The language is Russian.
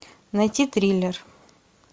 найти триллер